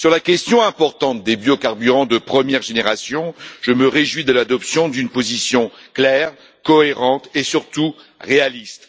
Sur la question importante des biocarburants de première génération, je me réjouis de l'adoption d'une position claire, cohérente et surtout, réaliste.